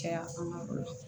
Caya an ka du kɔnɔ